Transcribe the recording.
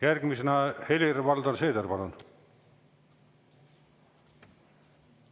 Järgmisena Helir-Valdor Seeder, palun!